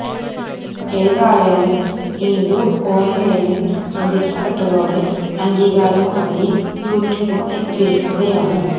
ഏതായാലും നീതു ഓണ് ലൈനില് ശ്രദ്ധിക്കപെട്ടതോടെ അംഗീകാരവുമായി യുട്യൂബും എത്തിയിരിക്കുകയാണ്